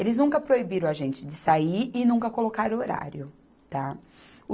Eles nunca proibiram a gente de sair e nunca colocaram horário, tá.